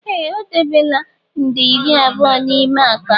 Ee! O debela nde iri abụọ n'ime akpa m.